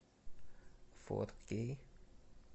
фор кей